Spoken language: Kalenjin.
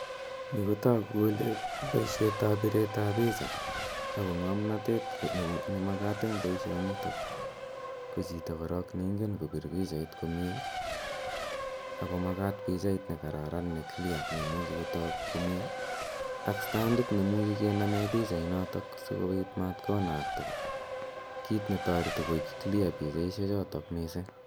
Yu ko tagu kole poishet ap piret ao picha ako ng'amnatet ne makat en poishonitok ko chito korok ne ingen kopir pichait komye, ako makat pichait ne kararan ne clear ne imuchi kotak komye ak standit ne imuchi kename pichainotok si kopit mat konakta, kiit ne tareti koek clear pichaishechotok missing'.